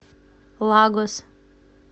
лагос